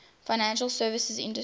financial services industry